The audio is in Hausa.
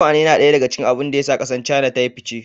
Tukwane yana daya daga cikin abin da ya sa kasar China ta yi fice.